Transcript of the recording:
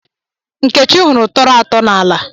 Nkechi hụrụ tọrọ atọ n'ala.